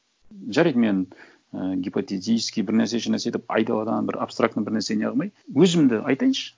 жарайды мен і гипотетически бір нәрсе еш нәрсе деп айдаладан бір абстрактный бір нәрсе не қылмай өзімді айтайыншы